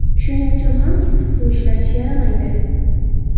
Shuning uchun ham issiq suv ishlatish yaramaydi.